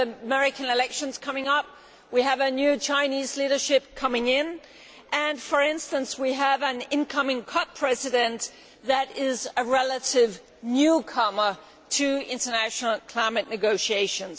We have American elections coming up, we have a new Chinese leadership coming in and, for instance, we have an incoming Conference of Parties president who is a relative newcomer to international climate negotiations.